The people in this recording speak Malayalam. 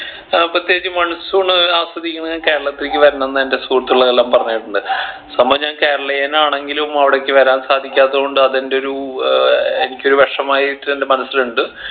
ഏർ പ്രത്യേകിച്ച് monsoon ആസ്വദിക്കണേൽ കേരളത്തിക്ക് വരണം എന്ന് എൻ്റെ സുഹൃത്തുക്കൾ എല്ലാംപറഞ്ഞ് കേട്ടിട്ടുണ്ട് സംഭവം ഞാൻ കേരളീയൻ ആണെങ്കിലും അവിടേക്ക് വരാൻ സാധികാത്തത് കൊണ്ട് അത് എൻ്റെ ഒരു ഏർ എനിക്കൊരു വെഷമായിട്ട് എൻ്റെ മനസ്സിൽ ഇണ്ട്